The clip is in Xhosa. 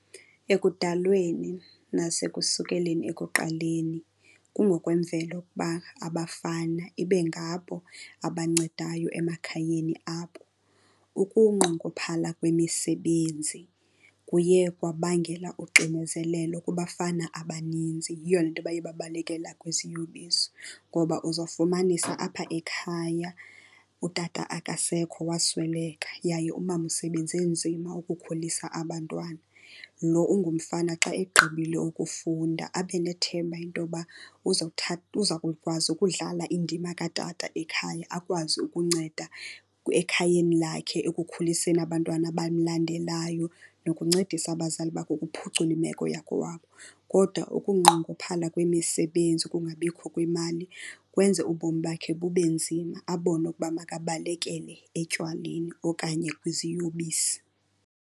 Ekudalweni nasekusikelweni ekuqaleni kungokwemvelo ukuba abafana ibe ngabo abancedayo emakhayeni abo. Ukunqongophala kwemisebenzi kuye kwabangela uxinezelelo kubafana abaninzi. Yiyo le nto baye babalekela kwiziyobisi. Ngoba uzawufumanisa apha ekhaya utata akasekho wasweleka yaye umama usebenze nzima ukukhulisa abantwana. Lo ungumfana xa egqibile ukufunda abe nethemba into yoba uza kukwazi ukudlala indima katata ekhaya, akwazi ukunceda ekhayeni lakhe ekukhuliseni abantwana abamlandelayo nokuncedisa abazali bakhe ukuphucula imeko yakokwabo. Kodwa ukunqongophala kwemisebenzi, ukungabikho kwemali, kwenze ubomi bakhe bube nzima, abone ukuba makabalekele etywaleni okanye kwiziyobisi.